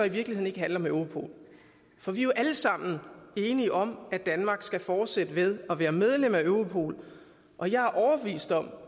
i virkeligheden ikke handle om europol for vi er jo alle sammen enige om at danmark skal fortsætte med at være medlem af europol og jeg er overbevist om